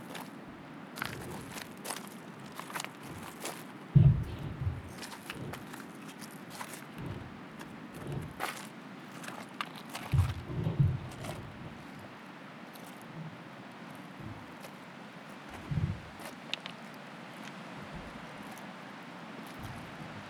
ከመሰረታዊ አገልግሎቶች አንደኛው መጠለያ ነው። መጠለያ ማለት ቆርቆሮ፣ ግድግዳ የመሳሰሉት ያሉት ሰውን ከብርድ፣ ከሙቀትና ከተለያዩ አስፈሪና መጥፎ እንስሳቶች የሚጠብቀን ቤት ወይም ደግሞ መጠለያ ይባላል።